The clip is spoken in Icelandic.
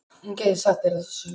Hún gæti sagt þér þessa sögu.